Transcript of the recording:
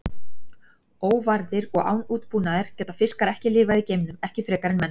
Óvarðir og án útbúnaðar geta fiskar ekki lifað í geimnum, ekki frekar en menn.